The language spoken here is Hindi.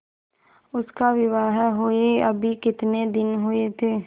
उसका विवाह हुए अभी कितने दिन हुए थे